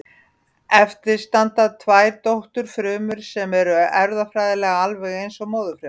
Eftir standa tvær dótturfrumur sem eru erfðafræðilega alveg eins og móðurfruman.